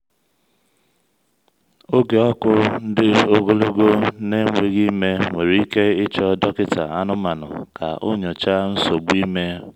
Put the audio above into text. oge ọkụ ndi-ogologo na-enweghị ime nwere ike ịchọ dọkịta anụmanụ ka o nyochaa nsogbu ime.